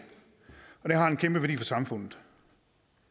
og det har en kæmpe værdi for samfundet